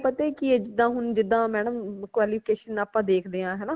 ਉਹ ਆਪਾ ਪਤਾ ਕਿ ਹੈ ਜਿਦਾ ਹੁਣ ਜਿਦਾ madam qualification ਆਪਾ ਦੇਖਦੇ ਹਾਂ ਹਨਾ